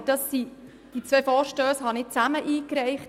Aber ich habe diese zwei Vorstösse zusammen eingereicht.